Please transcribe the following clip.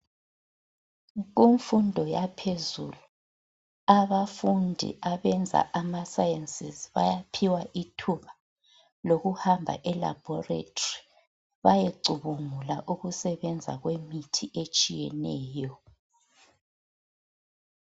Kumfundo yaphezulu, abafundi abenza amasayensizi bayaphiwa ithuba lokuhamba elabhoretri bayecubungula ukusebenza kwemithi etshiyeneyo.